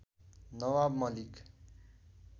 Nawab Malik